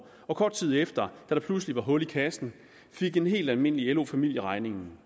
og kort tid efter da der pludselig var hul i kassen fik en helt almindelig lo familie regningen